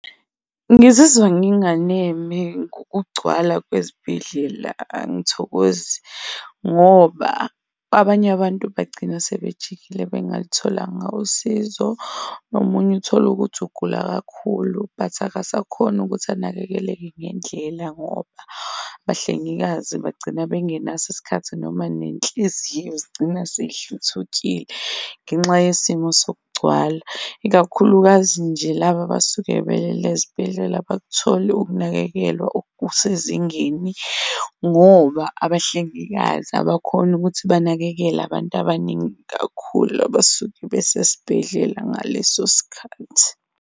Ngizizwa nginganeme ngokugcwala kwezibhedlela, angithokozi ngoba abanye abantu bagcina sebejikile bengalutholanga usizo nomunye utholukuthi ugula kakhulu, but akasakhoni ukuthi anakekeleke ngendlela ngoba abahlengikazi bagcina bengenaso isikhathi noma nenhliziyo zigcina seyihluthukile ngenxa yesimo sokugcwala, ikakhulukazi nje laba abasuke belele ezibhedlela abakutholi ukunakekelwa okusezingeni ngoba abahlengikazi abakhoni ukuthi banakekele abantu abaningi kakhulu abasuke besesibhedlela ngaleso sikhathi.